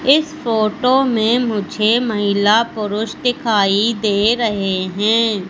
इस फोटो में मुझे महिला पुरुष दिखाई दे रहे हैं।